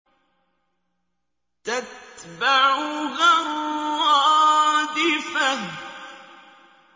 تَتْبَعُهَا الرَّادِفَةُ